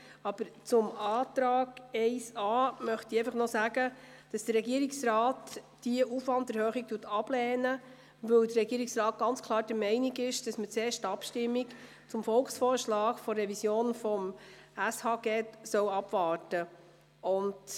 Aber zum Antrag 1a möchte ich noch sagen, dass der Regierungsrat diese Aufwanderhöhung ablehnt, weil er ganz klar der Meinung ist, dass man zuerst die Abstimmung über den Volksvorschlag zur Revision des SHG abwarten soll.